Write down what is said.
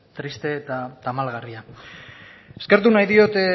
triste eta tamalgarria eskertu nahi diot